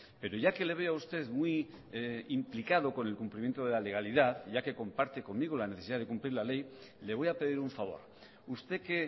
pero ya que le veo a usted muy implicado con el cumplimiento de la legalidad ya que comparte conmigo la necesidad de cumplir la ley le voy a pedir un favor usted que